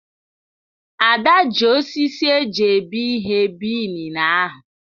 Ada ji osisi eji ebi ihe bie inine ahụ.